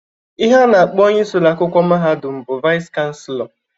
Ihe a na-akpọ onye isi ụlọakwụkwọ mahadum bụ Vais Chansịlọ.